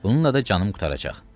Bununla da canım qurtaracaq.